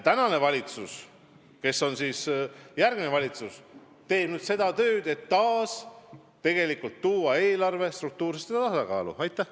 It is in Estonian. Ja praegune valitsus teeb nüüd tööd selle nimel, et taas eelarve struktuursesse tasakaalu viia.